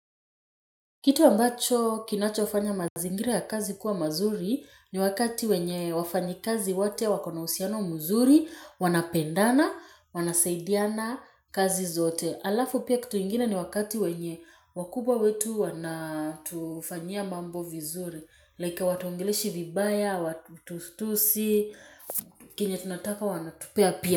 Kitu ambacho kinachofanya mazingira ya kazi kuwa mazuri ni wakati wenye wafanyi kazi wote wakona uhusiano mzuri, wanapendana, wanasaidiana kazi zote. Alafu pia kituingine ni wakati wenye wakubwa wetu wanatufanyia mambo vizuri, like hawatuongeleshi vibaya, hawatutusi, kenye tunataka wanatupea pia.